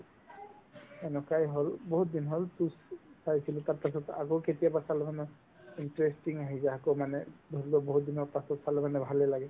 এনেকুৱাই হ'ল বহুত দিন হ'ল পিছ চাইছিলো তাৰপাছত আকৌ কেতিয়াবা চালো haa মই interesting আহি যায় আকৌ মানে ধৰিলোৱা বহুতদিনৰ পাছত চালে মানে ভালেই লাগে